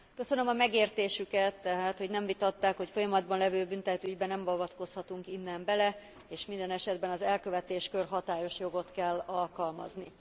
Köszönöm a megértésüket, tehát hogy nem vitatták, hogy folyamatban lévő büntetőügybe nem avatkozhatunk innen bele, és minden esetben az elkövetéskor hatályos jogot kell alkalmazni.